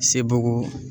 Sebaa